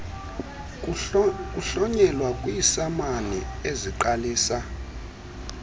kuhlonyelwa kwiisamani eziqalisa